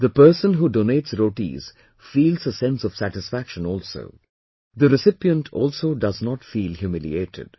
The person who donates rotis feels a sense of satisfaction also, the recipient also does not feel humiliated